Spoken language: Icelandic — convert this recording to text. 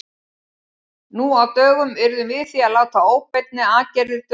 Nú á dögum yrðum við því að láta óbeinni aðferðir duga.